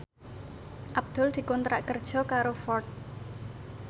Abdul dikontrak kerja karo Ford